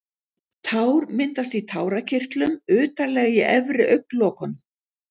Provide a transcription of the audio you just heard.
Tár myndast í tárakirtlum utarlega í efri augnlokunum.